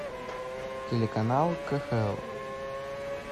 телеканал кхл